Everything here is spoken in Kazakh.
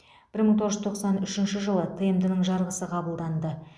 бір мың тоғыз жүз тоқсан үшінші жылы тмд ның жарғысы қабылданды